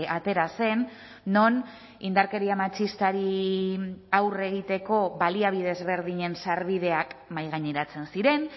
atera zen non indarkeria matxistari aurre egiteko baliabide ezberdinen sarbideak mahaigaineratzen ziren